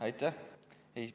Aitäh!